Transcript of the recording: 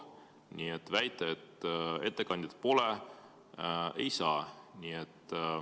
Nii et väita, et ettekandjat pole, ei saa.